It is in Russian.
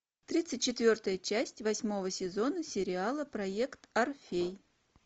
тридцать четвертая часть восьмого сезона сериала проект орфей